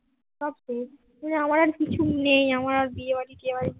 সবশেষ আমার আর কিছু নেই আমার আর বিয়ে বাড়ি টিয়ে বাড়ি